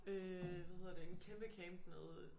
Øh hvad hedder det en kæmpe camp nede